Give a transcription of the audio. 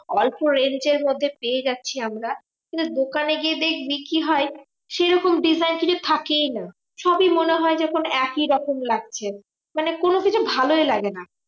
অল্প range এর মধ্যে পেয়ে যাচ্ছি আমরা। কিন্তু দোকানে গিয়ে দেখবি, কি হয়? সেরকম design কিছু থেকেই না। সবই মনে হয় যেন একই রকম লাগছে, মানে কোনোকিছু ভালোই লাগে না।